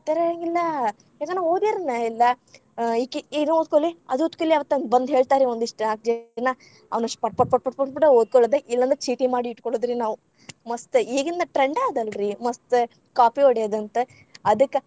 ಇರೆಂಗಿಲ್ಲಾ. ಯಾಕನ ನಾವ್‌ ಓದಿರನೇ ಇಲ್ಲಾ ಆ ಈಕಿ ಇದ ಓದ್ಕೋಲೆ ಅದು ಓದ್ಕೋಲೆ ಅಂತ್‌ ಅಂದ್‌ ಬಂದ್‌ ಹೇಳ್ತಾರ್ರೀ ಒಂದಿಷ್ಟ್‌ ಜನಾ ಅವನಿಷ್ಟ್‌ ಪಟ್‌ ಪಟ್‌ ಪಟ್‌ ಓದ್ಕೊಳ್ಳೋದ್‌ ಇಲ್ಲಂದ್ರ ಚೀಟಿ ಮಾಡಿ ಇಟ್ಟಕೊಳ್ಳೊದ್ರಿ ನಾವ್‌ ಮಸ್ತ್.‌ ಈಗಿಂದ್‌ trend ಅದ್‌ ಅಲ್ರಿ ಮಸ್ತ್‌ ಕಾಪಿ ಹೊಡಯೊದಂತ್‌ ಅದಕ್ಕ.